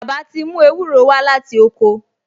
Bàbá ti mú ewúro wá láti oko